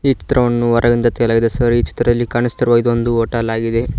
ಈ ಚಿತ್ರವನ್ನು ಹೊರಗಡೆಯಿಂದ ತೆಗೆಯಲಾಗಿದೆ ಸರ್ ಈ ಚಿತ್ರದಲ್ಲಿ ಕಾಣುತ್ತಿರುವ ಇದೊಂದು ಹೋಟೆಲ್ ಆಗಿದೆ.